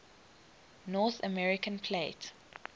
north american plate